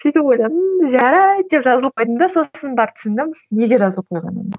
сөйтіп ойладым жарайды деп жазылып қойдым да сосын барып түсіндім неге жазылып қойғанымды